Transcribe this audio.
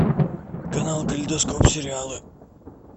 канал калейдоскоп сериалы